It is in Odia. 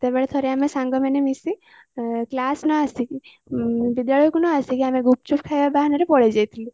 ତ ସେତେବେଳେ ଥରେ ଆମେ ସାଙ୍ଗମାନେ ମିସି କ୍ଲାସ ନ ଆସିକି ବିଦ୍ୟାଳୟକୁ ନ ଆସିକି ଆମେ ଗୂପୁଚୁପୁ ଖାଇବ ବାହାନରେ ପଳେଇ ଯାଇଥିଲୁ